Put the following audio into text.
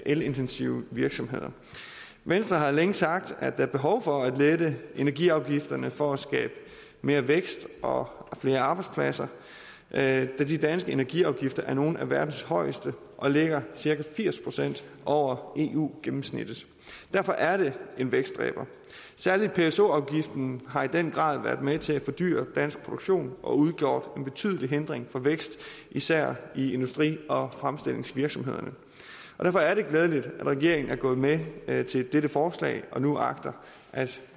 elintensive virksomheder venstre har længe sagt at der er behov for at lette energiafgifterne for at skabe mere vækst og flere arbejdspladser da de danske energiafgifter er nogle af verdens højeste og ligger cirka firs procent over eu gennemsnittet derfor er det en vækstdræber særlig pso afgiften har i den grad været med til at fordyre dansk produktion og har udgjort en betydelig hindring for vækst i især industri og fremstillingsvirksomhederne derfor er det glædeligt at regeringen er gået med med til dette forslag og nu agter at